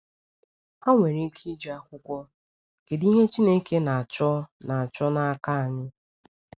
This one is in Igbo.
Ha nwere ike iji akwụkwọ “Kedụ Ihe Chineke Na-achọ Na-achọ N’aka Anyị?”